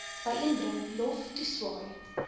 byeenbring lof toeswaai